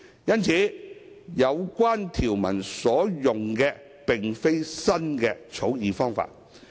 因此，有關條文所用的並非新的草擬方法。